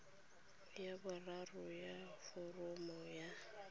ya boraro ya foromo ya